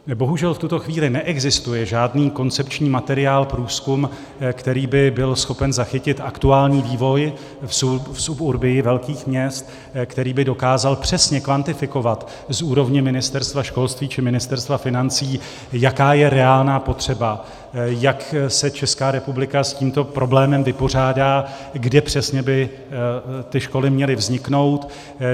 Bohužel v tuto chvíli neexistuje žádný koncepční materiál, průzkum, který by byl schopen zachytit aktuální vývoj v suburbii velkých měst, který by dokázal přesně kvantifikovat z úrovně Ministerstva školství či Ministerstva financí, jaká je reálná potřeba, jak se Česká republika s tímto problémem vypořádá, kde přesně by ty školy měly vzniknout.